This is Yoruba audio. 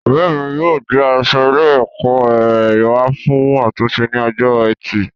Ọrẹ mi yóò gbé aṣọ ilé ẹkọ rẹ wa fún àtúnṣe ní ọjọ́ ẹtì